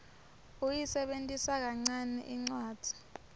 uyisebentisa kancane incwadzi